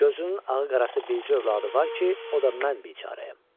Gözünün ağı-qarası bircə övladı var ki, o da mən biçarayəm.